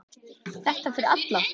Þetta er fyrir alla.